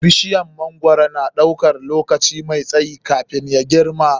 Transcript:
Bishiyar mangwaro na ɗaukan lokaci mai tsayi kafin ya girma.